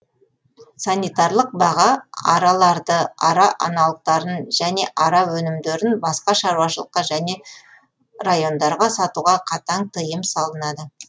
санитарлық баға араларды ара аналықтарын және ара өнімдерін басқа шаруашылыққа және райондарға сатуға қатаң тиым салынады